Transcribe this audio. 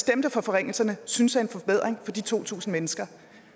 stemte for forringelserne synes er en forbedring for de to tusind mennesker